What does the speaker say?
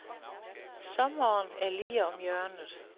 Sommeren er lige om hjørnet.